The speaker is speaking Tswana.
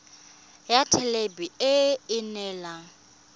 ya thelebi ene e neela